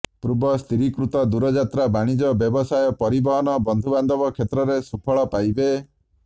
ପୂର୍ବ ସ୍ଥିରୀକୃତ ଦୂରଯାତ୍ରା ବାଣିଜ୍ୟ ବ୍ୟବସାୟ ପରିବହନ ବନ୍ଧୁ ବାନ୍ଧବ କ୍ଷେତ୍ରରେ ସୁଫଳ ପାଇବେ